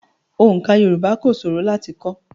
Oǹká Yorùbá kò ṣòro láti kọ́.